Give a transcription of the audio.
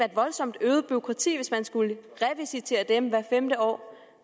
et voldsomt øget bureaukrati hvis man skulle revisitere dem hvert femte år